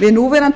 við núverandi